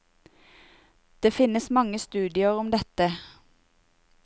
Det finnes mange studier om dette.